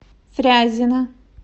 фрязино